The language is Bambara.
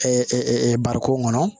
bariko kɔnɔ